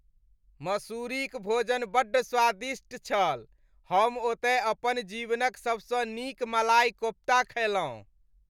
मसूरीक भोजन बड्ड स्वादिष्ट छल। हम ओतय अपन जीवनक सबसँ नीक मलाई कोफ्ता खयलहुँ।